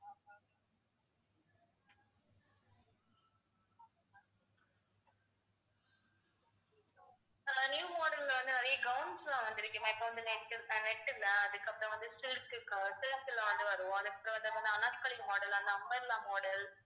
ma'am new model ல வந்து நிறைய gowns லாம் வந்திருக்கு இப்ப வந்து net ஆ net இல்ல அதுக்கு அப்புறம் silk க்கு silk ல வந்து வரும் அந்த anarkali model, umbrella model ஆ